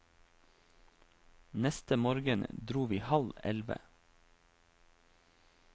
Neste morgen dro vi halv elleve.